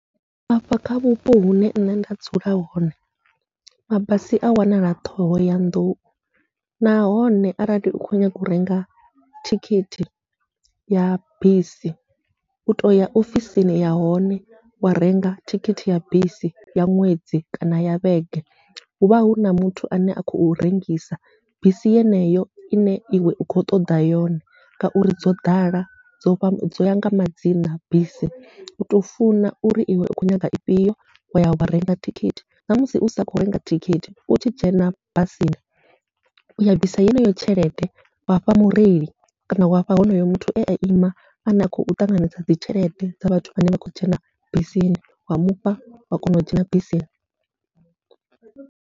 Afha kha vhupo hune nṋe nda dzula hone, mabasi a wanala Ṱhohoyanḓou nahone arali u kho nyaga u renga thikhithi ya bisi u toya ofisini ya hone wa renga thikhithi ya bisi ya ṅwedzi kana ya vhege, huvha huna muthu ane a khou rengisa bisi yeneyo ine iwe u kho ṱoḓa yone, ngauri dzo ḓala dzovha dzoya nga madzina bisi utou funa uri iwe u kho nyaga ifhio waya wa renga thikhithi. Namusi usa khou renga thikhithi utshi dzhena basini uya bvisa yeneyo tshelede wafha mureili kana wafha honoyo muthu ea ima ane a khou ṱanganedza dzi tshelede dza vhathu vhane vha khou dzhena bisini wa mufha wa kona u dzhena bisini.